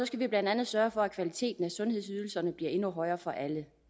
skal vi blandt andet sørge for at kvaliteten af sundhedsydelserne bliver endnu højere for alle